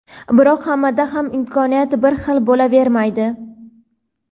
Biroq hammada ham imkoniyat bir xil bo‘lavermaydi.